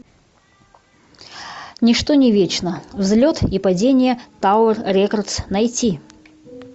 ничто не вечно взлет и падение тауэр рекордс найти